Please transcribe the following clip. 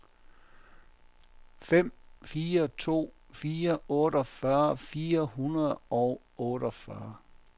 fem fire to fire otteogfyrre fire hundrede og otteogfyrre